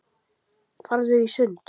Farðu í sund.